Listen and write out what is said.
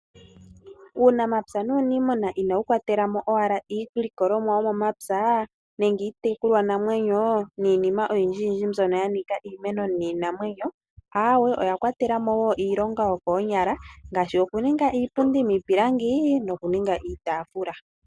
Uunamapya nuuniimuna inawu kwatelamo owala iilikolomwa yomomapya nenge iitekulwanamwenyo niinima oyindji mbyono yanika iimeno niinamwenyo aawe oyakwatelamo woo iilonga yokoonyala ngaashi okuninga iipundi miipilangi nokuninga iitafula.